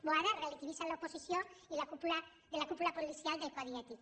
boada relativitza l’oposició de la cúpula policial del codi ètic